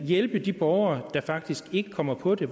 hjælpe de borgere der faktisk ikke kommer på det